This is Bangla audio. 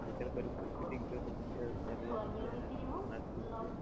সাইকেল করে ফিটিং করে একলা হাতে নাট খুলছে।